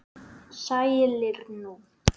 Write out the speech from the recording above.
Sælir nú.